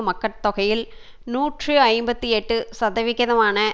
மக்கட் தொகையில் நூற்றி ஐம்பத்தி எட்டு சதவிகிதமான